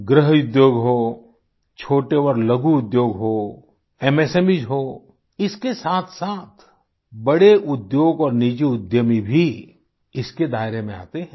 गृह उद्योग हो छोटे और लघु उद्योग हो एमएसएमईज हों इसके साथसाथ बड़े उद्योग और निजी उद्यमी भी इसके दायरे में आते हैं